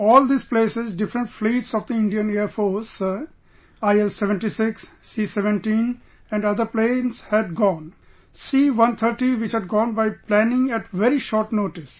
To all these places different fleets of the Indian Air Force sir, IL76 , C17 and other planes had gone... C130 which had gone by planning at very short notice